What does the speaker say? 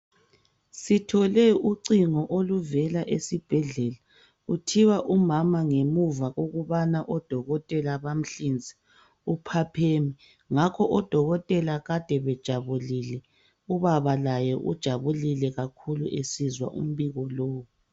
Sithole ucingo oluvela esibhedlela kuthiwa umama ngemuva kokubana odokotela bamhlinze uphapheme, ngakho odokotela kade bejabulile ubaba laye ujabulile kakhulu esizwa umbiko lowu.